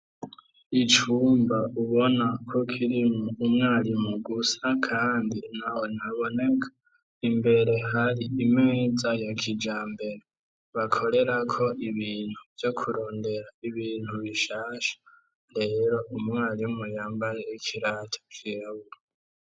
Icumba ubona ko kirimwo umwarimu gusa, kandi ntawe ntaboneka. Imbere hari imeza ya kijambere bakorerako ibintu vyo kurondera ibintu bishasha. Rero umwarimu yambaye ikirato cirabura.